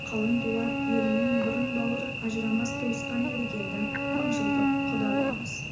қалың дулат елімен бұрын бауыр ажырамас туысқан едік енді мыңжылдық құда боламыз